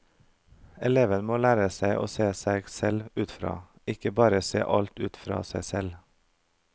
Eleven må lære seg å se seg selv utenfra, ikke bare se alt ut fra seg selv.